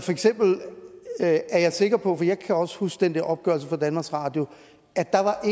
jeg er sikker på for jeg kan også huske den der opgørelse fra danmarks radio at der